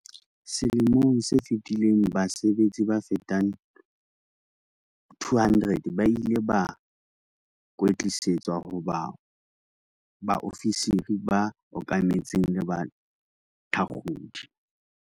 Selemong se fetileng base betsi ba fetang 200 ba ile ba kwetlisetswa ho ba baofisiri ba okametseng le bathakgodi.